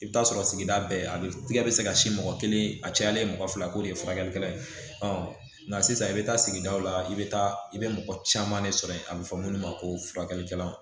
I bɛ taa sɔrɔ sigida bɛɛ a bɛ tigɛ bɛ se ka si mɔgɔ kelen a cayalen mɔgɔ fila k'o de furakɛlikɛla ye nka sisan i bɛ taa sigidaw la i bɛ taa i bɛ mɔgɔ caman de sɔrɔ yen a bɛ fɔ minnu ma ko furakɛlikɛla